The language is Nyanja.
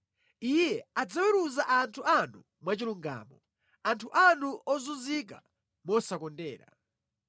Iye adzaweruza anthu anu mwachilungamo, anthu anu ozunzika mosakondera.